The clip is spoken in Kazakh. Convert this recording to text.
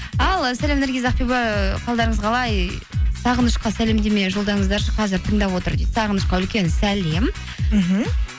ал сәлем наргиз ақбибі қалдарыңыз қалай сағынышқа сәлемдеме жолдаңыздаршы қазір тыңдап отыр дейді сағынышқа үлкен сәлем мхм